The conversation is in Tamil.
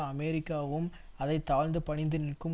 அமெரிக்காவும் அதை தாழ்ந்து பணிந்து நிற்கும்